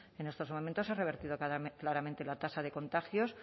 en estos momentos se ha revertido claramente la tasa de contagios